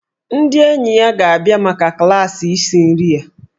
Ndị enyi ya ga-abịa maka klaasị isi nri ya.